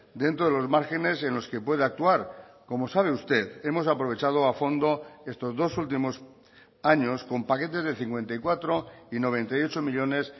dentro de los márgenes en los que puede actuar como sabe usted hemos aprovechado a fondo estos dos últimos años con paquetes de cincuenta y cuatro y noventa y ocho millónes